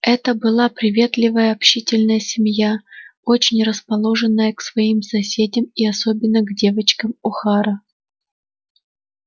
это была приветливая общительная семья очень расположенная к своим соседям и особенно к девочкам охара